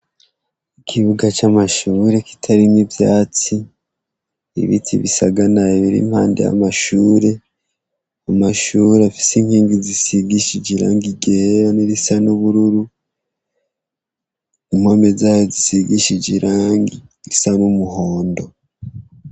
Ikibuga c'amashure kitarimwo ivyatsi, ibiti bisaganaye biri impande y'amashure, amashure afise inkingi zisigishije irangi ryera n'irisa n'ubururu, impome zayo zisigishije irangi risa n'umuhondo.